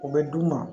O bɛ d'u ma